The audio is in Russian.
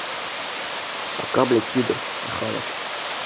пока блядь пидор я хавать